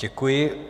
Děkuji.